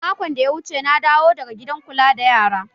Makon da ya wuce na dawo daga gidan kula da yara